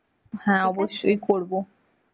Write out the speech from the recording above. হ্যাঁ, অবশ্যই করবো.